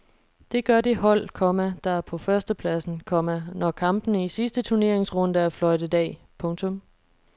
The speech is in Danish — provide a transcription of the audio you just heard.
Det gør det hold, komma der er på førstepladsen, komma når kampene i sidste turneringsrunde er fløjtet af. punktum